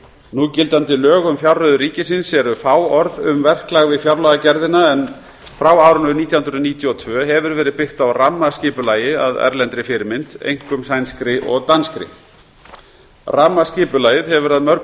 núgildandi lög um fjárreiður ríkisins eru fáorð um verklag við fjárlagagerðina en frá árinu nítján hundruð níutíu og tvö hefur verið byggt á rammaskipulagi að erlendri fyrirmynd einkum sænskri og danskri rammaskipulagið hefur að mörgu